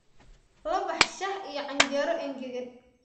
La bax shaah iyo canjeero engegan